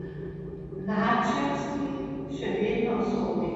Načevski še vedno sodi.